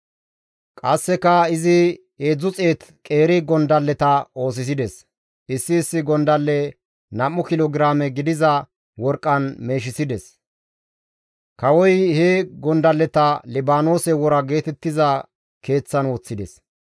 Qasseka izi 300 qeeri gondalleta oosisides; issi issi gondalle nam7u kilo giraame gidiza worqqan meeshisides; kawoy he gondalleta Libaanoose Wora geetettiza keeththan woththides.